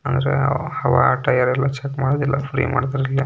ಹವಾ ಗಿವ ಚೆಕ್ ಮಾಡಲ್ಲ ಇಲ್ಲಿ ಫ್ರೀ ಮಾಡ್ತಾರೆ.